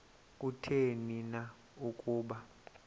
kutheni na ukuba